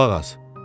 Qulaq as.